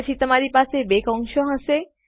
પછી તમારી પાસે બે કૌંસો હશે